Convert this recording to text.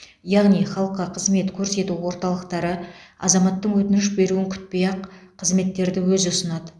яғни халыққа қызмет көрсету орталықтары азаматтың өтініш беруін күтпей ақ қызметтерді өзі ұсынады